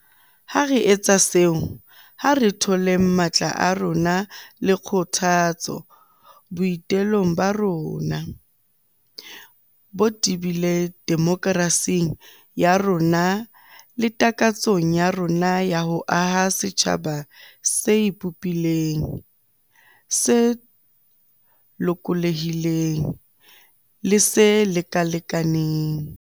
Ha re etsa seo, ha re tholeng matla a rona le kgothatso boi telong ba rona bo tebileng demokerasing ya rona le takatsong ya rona ya ho aha setjhaba se ipopileng, se lokolohileng le se lekalekanang.